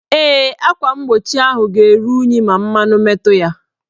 Ee, akwa mgbochi ahụ ga-eru unyi ma mmanụ metu ya.